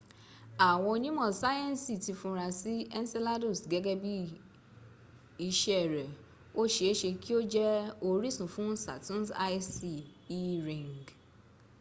àwọn onímọ̀ sáyẹnsì ti funra sí́ enceladus gẹ́gẹ́ bí iṣẹ́ rẹ̀ o ṣe e ṣe kí o jẹ orísun fuhn saturn's icy e ring